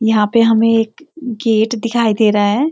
यहाँ पे हमें एक गेट दिखाई दे रहा है।